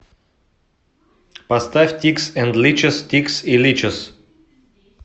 поставь тикс энд личес тикс и личес